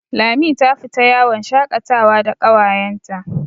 Lami ta fita yawon shakatawa da ƙawayenta.